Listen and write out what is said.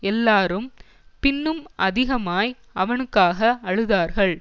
எல்லாரும் பின்னும் அதிகமாய் அவனுக்காக அழுதார்கள்